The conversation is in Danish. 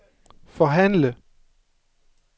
forhandle